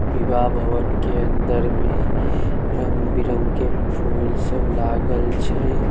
विवाह भवन के अंदर में रंग-बिरंग के फूल सब लागल छै।